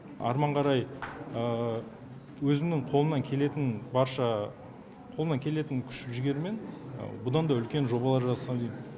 арман қарай өзімнің қолымнан келетін күш жігермен бұдан да үлкен жобалар жасасам дейм